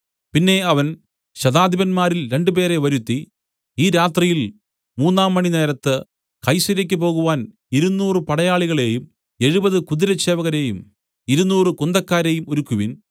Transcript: പിന്നെ അവൻ ശതാധിപന്മാരിൽ രണ്ടുപേരെ വരുത്തി ഈ രാത്രിയിൽ മൂന്നാം മണിനേരത്ത് കൈസര്യയ്ക്ക് പോകുവാൻ ഇരുനൂറ് പടയാളികളെയും എഴുപത് കുതിരച്ചേവകരെയും ഇരുനൂറ് കുന്തക്കാരെയും ഒരുക്കുവിൻ